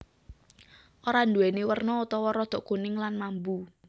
Ora nduwèni werna utawa rodok kuning lan mambu